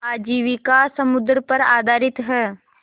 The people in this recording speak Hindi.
आजीविका समुद्र पर आधारित है